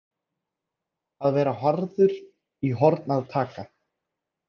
Að vera harður í horn að taka